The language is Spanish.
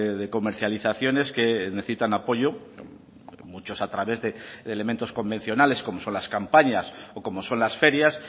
de comercializaciones que necesitan apoyo muchos a través de elementos convencionales como son las campañas o como son las ferias